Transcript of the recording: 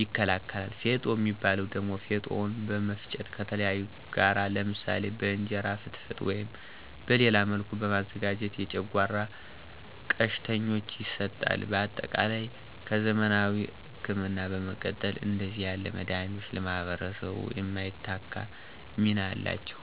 ይከላከላል። ፌጦ ሚባው ደሞ ፌጦውን በመፍጨት ከተለያዩ ጋር ለምሳሌ በእንጀራ ፍትፍት ወይም በሌላ መልክ በማዘጋጀት የጨጓራ ቀሽተኞች ይሰጣል። በአጠቃላይ ከዘመናዊ እክምና በመቀጠል እንደዚህ ያሉ መዳኒቶች ለማህበረሰባችን የማይተካ ሚና አላቸው።